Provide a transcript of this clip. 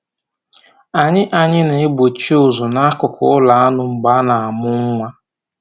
Anyị Anyị na-egbochi ụzụ n'akụkụ ụlọ anụ mgbe a na-amụ nwa